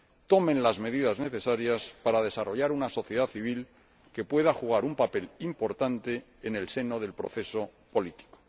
tomen las medidas necesarias para desarrollar una sociedad civil que pueda jugar un papel importante en el seno del proceso político.